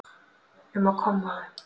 um á kommóðu.